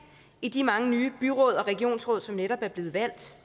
i de mange nye byråd og regionsråd som netop er blevet valgt